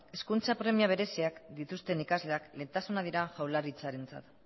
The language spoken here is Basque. hezkuntza premia bereziak dituzten ikasleak lehentasuna dira jaurlaritzarentzat